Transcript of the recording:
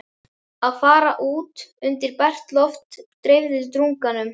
Að fara út undir bert loft dreifði drunganum.